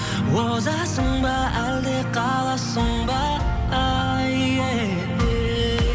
озасың ба әлде қаласың ба еее